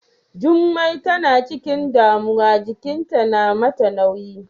Jummai tana ciƙin damuwa jiƙinta na mata nauyi.